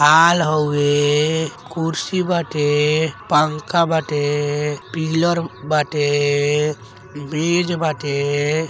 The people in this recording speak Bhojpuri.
हौवे कुर्सी बाटे पंखा बाटे पिलर बाटे बिज बाटे --